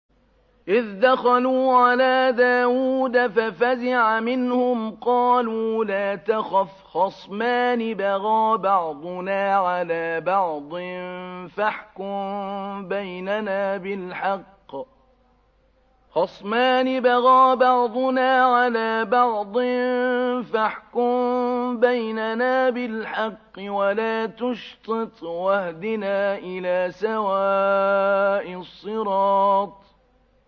إِذْ دَخَلُوا عَلَىٰ دَاوُودَ فَفَزِعَ مِنْهُمْ ۖ قَالُوا لَا تَخَفْ ۖ خَصْمَانِ بَغَىٰ بَعْضُنَا عَلَىٰ بَعْضٍ فَاحْكُم بَيْنَنَا بِالْحَقِّ وَلَا تُشْطِطْ وَاهْدِنَا إِلَىٰ سَوَاءِ الصِّرَاطِ